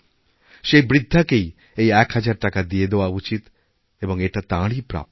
সেই বৃদ্ধাকেই এই এক হাজার টাকা দিয়ে দেওয়া উচিৎ এবং এটা তাঁরইপ্রাপ্য